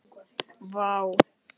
Vá